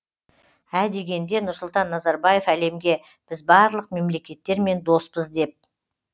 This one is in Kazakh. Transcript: ә дегенде нұрсұлтан назарбаев әлемге біз барлық мемлекеттермен доспыз деп